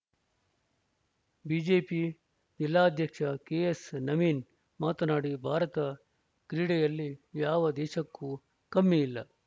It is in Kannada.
ಬಿಜೆಪಿ ಜಿಲ್ಲಾಧ್ಯಕ್ಷ ಕೆಎಸ್‌ ನವೀನ್‌ ಮಾತನಾಡಿ ಭಾರತ ಕ್ರೀಡೆಯಲ್ಲಿ ಯಾವ ದೇಶಕ್ಕೂ ಕಮ್ಮಿಯಿಲ್ಲ